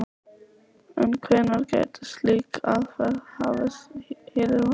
En hvenær gæti slík aðferð hafist hér á landi?